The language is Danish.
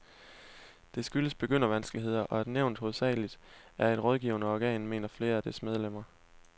Det skyldes begyndervanskeligheder, og at nævnet hovedsageligt er et rådgivende organ, mener flere af dets medlemmer.